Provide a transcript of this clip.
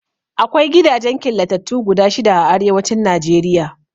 Akwai gidajen killatattu guda shida a Arewacin Najeriya.